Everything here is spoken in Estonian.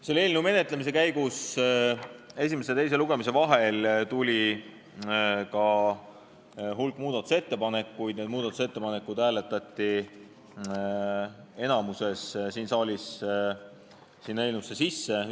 Selle eelnõu menetlemise käigus tuli esimese ja teise lugemise vahel ka hulk muudatusettepanekuid, need hääletati enamikus siin saalis eelnõusse sisse.